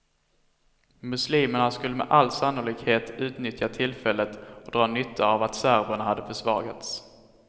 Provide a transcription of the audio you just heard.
Muslimerna skulle med all sannolikhet utnyttja tillfället och dra nytta av att serberna hade försvagats.